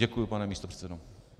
Děkuji, pane místopředsedo.